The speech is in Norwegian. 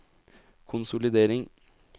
konsolidering